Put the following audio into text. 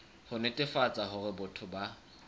ho netefatsa hore batho ba